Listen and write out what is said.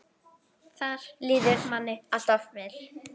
Þar líður manni alltaf vel.